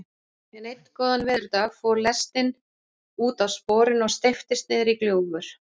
En einn góðan veðurdag fór lestin útaf sporinu og steyptist niðrí gljúfur.